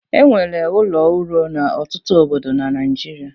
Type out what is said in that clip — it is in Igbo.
E nwere ụlọ ụrọ n'ọtụtụ obodo na Naịjirịa.